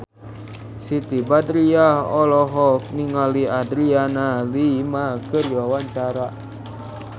Siti Badriah olohok ningali Adriana Lima keur diwawancara